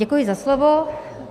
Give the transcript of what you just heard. Děkuji za slovo.